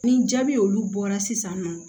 Ni jaabi olu bɔra sisan nɔ